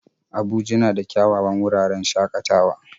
Abuja na da kyawawan wuraren shakatawa